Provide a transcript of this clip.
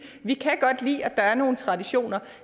vi kan godt lide at der er nogle traditioner